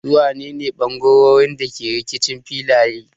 Su wane ne bangarorin da ke rikicin filaye?